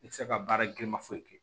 I tɛ se ka baara giriman foyi kɛ